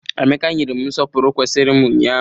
Emeka nyere m nsọpụrụ kwesiri m ụnyaahụ.